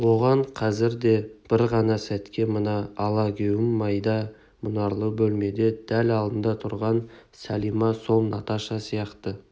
оған қазір де бір ғана сәтке мына алагеуім майда мұнарлы бөлмеде дәл алдында тұрған сәлима сол наташа сияқты